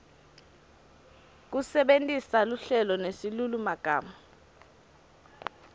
kusebentisa luhlelo nesilulumagama